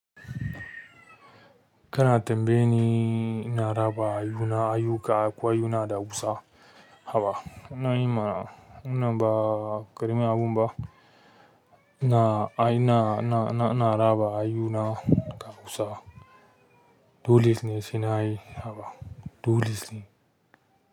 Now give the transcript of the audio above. Kana tambayi ni ina raba ayuna, ayuka akwai ayuna da kusa. Haba. Ina yi mana, wannan ba ƙarami abu ba. Ina ai ina, ina, ina, ina raba ayuna da kusa. Dole sai nayi haba dole ne.